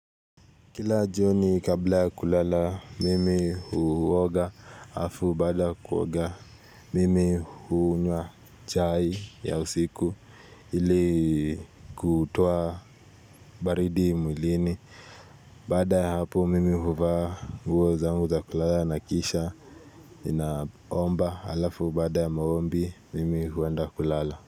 Kila joni kabla kulala mimi huwoga hafu bada kuwoga mimi huunywa chai ya usiku ili kutowa baridi mwilini. Baada hap mimi huwa nguo zangu za kulala na kisha naomba alafu baada ya maombi mimi huwenda kulala.